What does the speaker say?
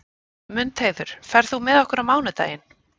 Mundheiður, ferð þú með okkur á mánudaginn?